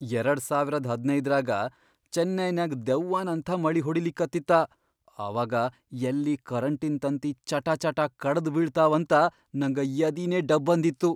ಎರಡ್ ಸಾವಿರದ್ ಹದಿನೈದರಾಗ ಚೆನ್ನೈನ್ಯಾಗ್ ದೆವ್ವನಂಥಾ ಮಳಿ ಹೊಡಿಲಿಕತ್ತಿತಾ, ಅವಾಗ ಯಲ್ಲಿ ಕರೆಂಟಿನ್ ತಂತಿ ಚಟಾಚಟಾ ಕಡದ್ ಬೀಳ್ತಾವಂತ ನಂಗ ಯದಿನೇ ಡಬ್ ಅನ್ದಿತ್ತು.